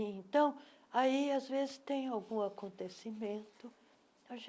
Então, aí às vezes tem algum acontecimento.